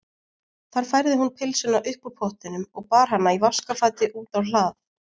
Þar færði hún pylsuna upp úr pottinum og bar hana í vaskafati út á hlað.